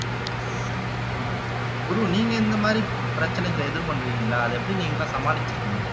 குரு நீங்க இந்த மாதிரி பிரச்சனைகளை எதிர்பார்க்கிறீங்களா அதை எப்படி நீங்க எல்லாம் சமாளிச்சிருக்கீங்க